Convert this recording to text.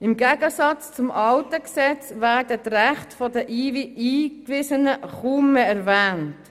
Im Gegensatz zum alten Gesetz werden die Rechte der Eingewiesenen kaum mehr erwähnt.